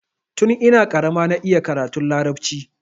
Tun ina karama na iya karatun larabci.